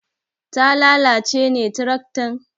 Ta lalace ne tiraktan?